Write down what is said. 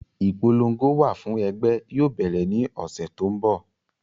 Ipolongo wà fún ẹgbẹ́ yóò bẹ̀rẹ̀ ní ọ́sẹ́ tó ń bọ̀